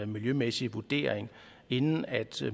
miljømæssig vurdering inden